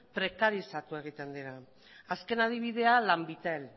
prekarizatu egiten dira azken adibidea lanbitel